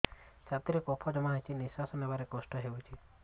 ଛାତିରେ କଫ ଜମା ହୋଇଛି ନିଶ୍ୱାସ ନେବାରେ କଷ୍ଟ ହେଉଛି